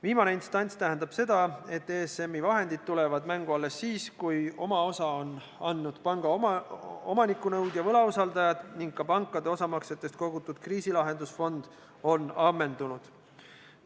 Viimane instants tähendab seda, et ESM-i vahendid tulevad mängu alles siis, kui oma osa on andnud panga omanikunõudja, võlausaldajad ning ka pankade osamaksetest kogutud kriisilahendusfond on ammendunud.